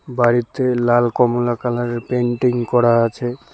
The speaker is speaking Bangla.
বাড়িতে লাল কমলা কালারের পেইন্টিং করা আছে।